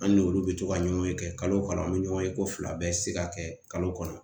An n'olu bɛ to ka ɲɔgɔn ye kalo kalo an bɛ ɲɔgɔn ye ko fila bɛ se ka kɛ kalo kɔnɔ